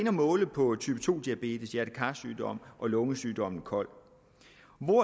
at måle på type to diabetes hjerte kar sygdom og lungesygdommen kol